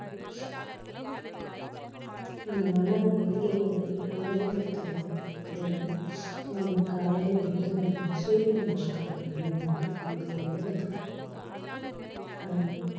நம்ம மனம் எப்படி அம்~ அமைதிப்படுத்தலாம் அப்படின்னா நீங்க காலையில எழுந்த உடனே சூரிய நமஸ்காரம் பண்ணிங்கனாவே நம்மளுக்கு உடலுக்கு அதாவது